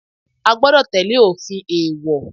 A gbọ́dọ̀ tẹ́lẹ̀ òfin èèwọ̀.